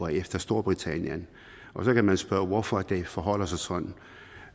efter storbritannien og så kan man spørge hvorfor det forholder sig sådan